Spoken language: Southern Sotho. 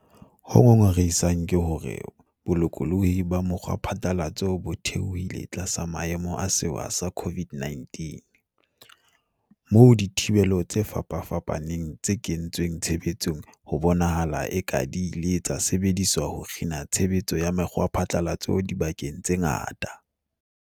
Ho ngongorehisang ke hore bolokolohi ba mokgwaphatla latso bo theohile tlasa maemo a sewa sa COVID-19, moo dithibelo tse fapafapaneng tse kentsweng tshebetsong ho bonahalang e ka di ile tsa sebedisetswa ho kgina tshe betso ya mekgwaphatlalatso dibakeng tse ngata.